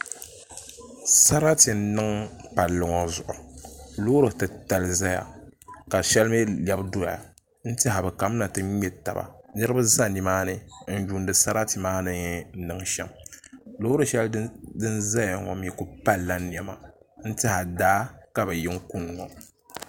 Sarati n niŋ palli ŋɔ zuɣu Loori titali ʒɛya ka shɛli mii lɛbi doya n tiɛha bi kamina ti ŋmɛ taba niraba ʒɛ nimaani n yuundi sarati maa ni niŋ shɛm loori shɛli din ʒɛya ŋɔ mii ku palla niɛma n tiɛha daa ka bi yi n kuni ŋɔ